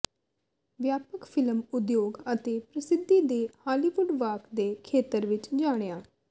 ਵਿਆਪਕ ਫਿਲਮ ਉਦਯੋਗ ਅਤੇ ਪ੍ਰਸਿੱਧੀ ਦੇ ਹਾਲੀਵੁੱਡ ਵਾਕ ਦੇ ਖੇਤਰ ਵਿੱਚ ਜਾਣਿਆ